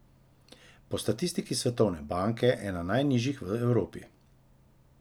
Po statistiki Svetovne banke ena najnižjih v Evropi.